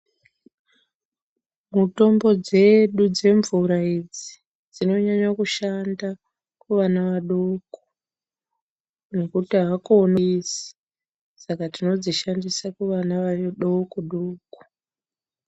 Mitombo dzedu demvura idzi dzinonyanya kushanda kuvana vadoko nekuti avakoni saka tinodzishandisa kuvana vadoko doko.